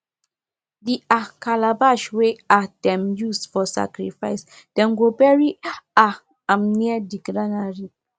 the um calabash wey um dem use for sacrifice dem go bury um am near the granary